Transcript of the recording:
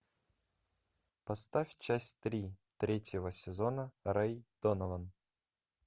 поставь часть три третьего сезона рэй донован